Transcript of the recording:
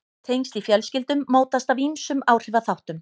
Tengsl í fjölskyldum mótast af ýmsum áhrifaþáttum.